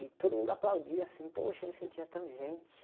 E todo mundo aplaudia, assim, poxa, eu me sentia tão gente.